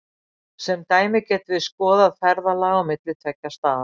sem dæmi getum við skoðað ferðalag á milli tveggja staða